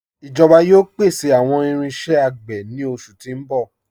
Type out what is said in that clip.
Ijoba yóò pèsè awọn irinṣẹ̀ agbè ni oṣù ti n bọ̀.